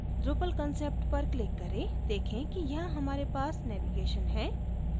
drupal concept पर click करें देखें कि यहाँ हमारे पास navigation हैं